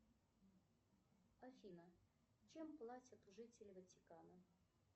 афина чем платят жители ватикана